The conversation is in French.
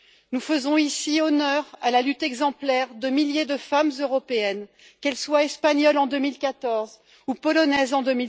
Nous faisons, ici, honneur à la lutte exemplaire de milliers de femmes européennes, qu'elles soient espagnoles, en 2014, ou polonaises, en